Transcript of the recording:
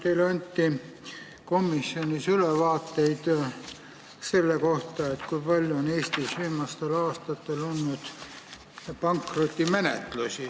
Teile anti komisjonis ülevaade selle kohta, kui palju on Eestis viimastel aastatel olnud pankrotimenetlusi.